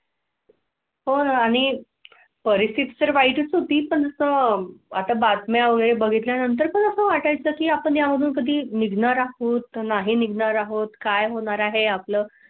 कोन आणि परिस्थिती वाईट होती पण तो आता बातम्या वगैरे बघितल्या नंतर कसं वाटाय चं की आपण यातून कधी निघणार होत नाही. निघणार आहोत काय होणार आहे आपलं?